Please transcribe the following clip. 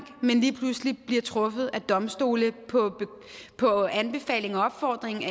men lige pludselig bliver truffet af domstole på anbefaling af og opfordring